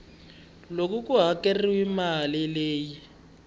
loko ku hakeriwile mali leyi